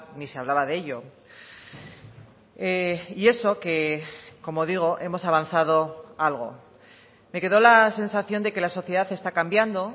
ni se hablaba de ello y eso que como digo hemos avanzado algo me quedó la sensación de que la sociedad está cambiando